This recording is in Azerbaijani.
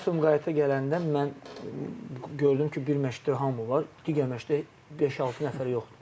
Mən Sumqayıta gələndə mən gördüm ki, bir məşqdə hamı var, digər məşqdə beş-altı nəfər yoxdur.